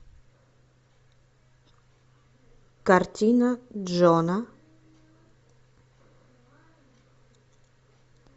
картина джона